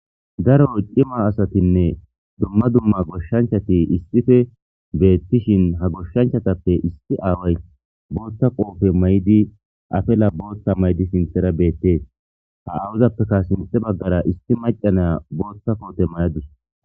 Daro cimma asattinne dumma dumma goshshanchchatti issippe beetishin he goshshanchchattappe issi aaway booththa may'o ma'idi affila booththa may'iddi sinththara be'ettes. Ha aawazappekka sinththe baggara issi macca na'iya booththa koote may'adus.